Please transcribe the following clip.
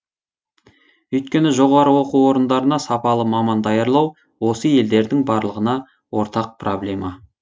өйткені жоғары оқу орындарына сапалы маман даярлау осы елдердің барлығына ортақ проблема